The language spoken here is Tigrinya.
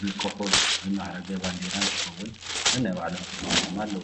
ብኮኮብ ዝማዕረገ ባንዴራ እንትኸውን ነናይ ባዕሎም ተግባራት ድማ ኣለዎም፡፡